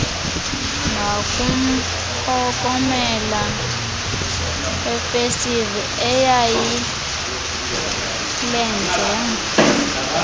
ngakumphokomela wefestile eyayilenze